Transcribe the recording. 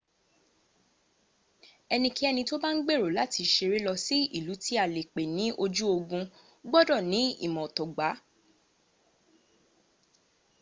ẹnikẹ́ni tí ó bá ń gbèrò láti ṣeré lọ sí ìlú tí a lè pè ní ojú ogun gbọdọ̀ ní imọ̀ ọ̀tọ̀ gbá